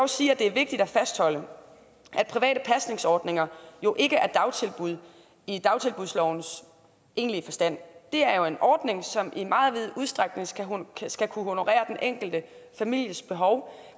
sige at det er vigtigt at fastholde at private pasningsordninger jo ikke er dagtilbud i dagtilbudslovens egentlige forstand det er en ordning som i meget vid udstrækning skal kunne honorere den enkelte families behov